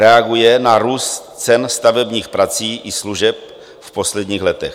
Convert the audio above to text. Reaguje na růst cen stavebních prací i služeb v posledních letech.